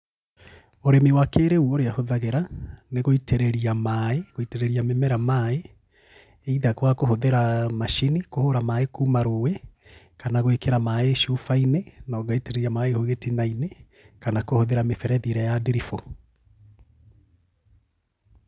Ũrĩmi wa kĩrĩu ũrĩa hũthagĩra, nĩ gũitĩrĩria maĩ gũitĩrĩria mĩmera maĩ either kwakũhũthĩra macini kũhũra maĩ kuuma rũĩ, kana gwĩkĩra maĩ cubainĩ na ũgaitĩrĩria maĩ hau gĩtinainĩ kana kũhũthĩra mĩberethi ĩrĩa ya ndiribũ.